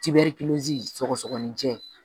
sɔgɔsɔgɔninjɛ